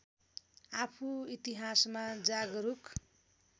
आफू इतिहासमा जागरुक